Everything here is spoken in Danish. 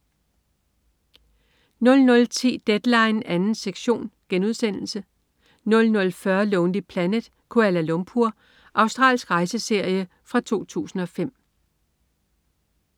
00.10 Deadline 2. sektion* 00.40 Lonely Planet: Kuala Lumpur. Australsk rejseserie fra 2005